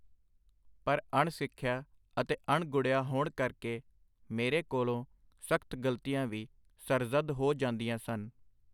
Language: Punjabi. ਪਰ ਅਣ-ਸਿਖਿਆ ਅਤੇ ਅਣ-ਗੁੜ੍ਹਿਆ ਹੋਣ ਕਰਕੇ ਮੇਰੇ ਕੋਲੋਂ ਸਖਤ ਗਲਤੀਆਂ ਵੀ ਸਰਜ਼ੱਦ ਹੋ ਜਾਂਦੀਆਂ ਸਨ.